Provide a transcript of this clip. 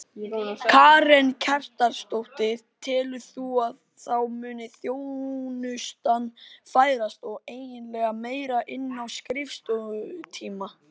Karen Kjartansdóttir: Telur þú að þá muni þjónustan færast eiginlega meira inn á skrifstofutíma?